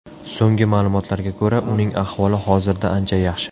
So‘nggi ma’lumotlarga ko‘ra, uning ahvoli hozirda ancha yaxshi.